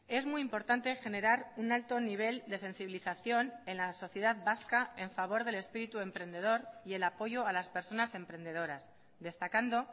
es muy importante generar un alto nivel de sensibilización en la sociedad vasca en favor del espíritu emprendedor y el apoyo a las personas emprendedoras destacando